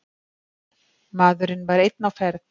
Maðurinn var einn á ferð.